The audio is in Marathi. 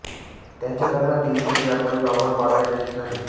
त्यांचे लग्न दिल्लीतील व्यापारी रॉबर्ट वाड्रा यांच्याशी झाले